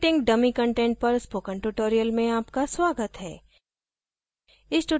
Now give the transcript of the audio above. creating dummy content पर spoken tutorial में आपका स्वागत है